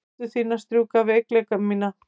Hendur þínar strjúka veikleika mína.